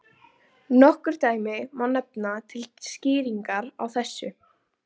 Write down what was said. Lýk upp fyrsta desember svo dúskur rifnar af húfu.